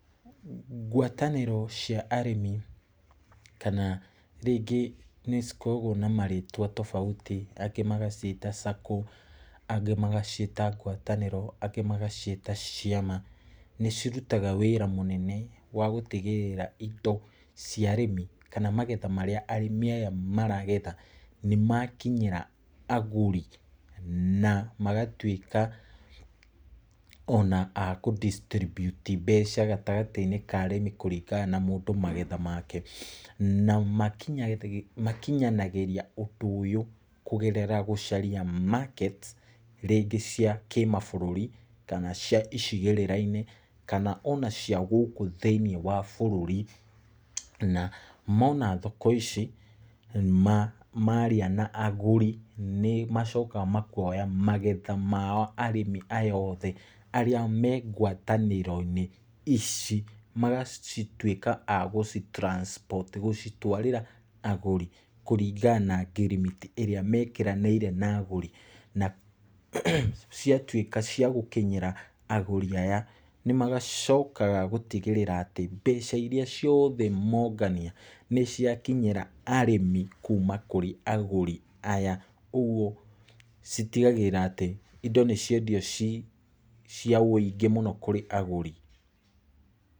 Ngwatanĩro cia arĩmi, kana rĩngĩ nĩ cikoragwo na marĩtwa tofauti, angĩ magaciĩta sacco angĩ magaciĩta ngwatanĩro angĩ magaciĩta ciama, nĩ cirutaga wĩra mũnene wa gũtigĩrĩra indo cia arĩmi, kana magetha marĩa arĩmi aya maragetha, nĩmakinyĩra agũri na magatũĩka ona a kũ distribute mbeca gatagatĩ-inĩ ka arĩmi kũringana na mũndũ magetha make. Na makinyanagĩria ũndũ ũyũ kũgerera gũcaria markets rĩngĩ cia kĩmabũrũrĩ, kana cia icigĩrĩra-inĩ, kana ona cia gũkũ thĩinĩ wa bũrũri. Na mona thoko ici, maria na agũri nĩ macokaga makoga magetha mao arĩmi aya othe, arĩa mengwatanĩro-inĩ ici, magacituĩka a gũci transport gũcitwarĩra agũri kũringana na ngirimiti ĩrĩa mekĩranĩire na agũri. Na ciatuĩka cia gũkinyĩra agũri aya, nĩ macokaga gũtigĩrĩra atĩ, mbeca iria ciothe mongania nĩ ciakinyĩra arĩmi kuuma kũrĩ agũri aya. Ũguo citigagĩrĩra atĩ, indo nĩ ciendio ciaũingĩ mũno kũrĩ agũri.